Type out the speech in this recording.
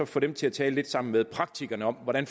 få dem til at tale sammen med praktikerne om hvordan